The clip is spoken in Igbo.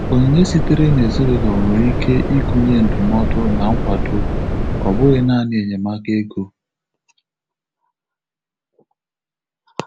Onyinye sitere n'ezinụlọ nwere ike ịgụnye ndụmọdụ na nkwado,ọ bụghị naani enyemaka ego.